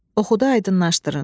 Oxuyub aydınlaşdırın.